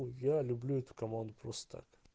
я люблю эту команду просто так